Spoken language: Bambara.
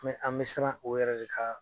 an bɛ siran o yɛrɛ de ka